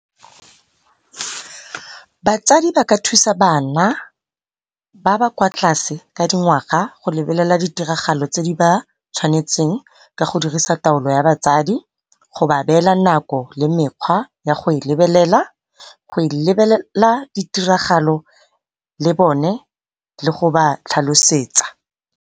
Batsadi ba ka thusa bana ba ba kwa tlase ka dingwaga go lebelela di tiragalo tse di ba tshwanetseng. Ka go dirisa taolo ya batsadi, go ba beela nako le mekgwa ya go e lebelela. Go e lebelela di tiragalo le bone ke go ba tlhalosetsa